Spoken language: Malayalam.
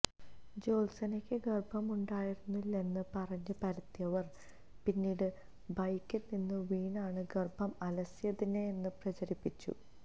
ജ്യോത്സ്നയ്ക്ക് ഗര്ഭമുണ്ടായിരുന്നില്ലെന്ന് പറഞ്ഞു പരത്തിയവര് പിന്നീട് ബൈക്കില്നിന്ന് വീണാണ് ഗര്ഭം അലസിയതെന്ന് പ്രചരിപ്പിച്ചു